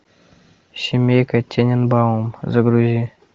семейка тененбаум загрузи